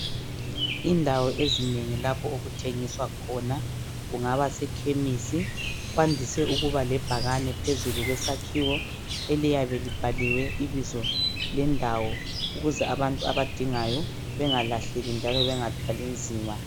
Indawo ezingeni lapho okuthengiswa khona, kungaba sekhemisi kwandise ukuba lebhakani phezulu kwesakhiwo, eliyabe libhaliwe ibizo lendawo ukuze abantu abadingayo bengalahleki njalo bengathwali nzima.